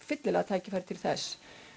fyllilega tækifæri til þess